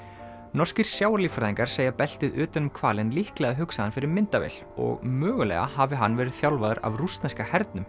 norskir segja beltið utan um hvalinn líklega hugsaðan fyrir myndavél og mögulega hafi hann verið þjálfaður af rússneska hernum